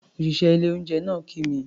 Òṣìṣẹ́ ilé-oúnjẹ náà kí mi.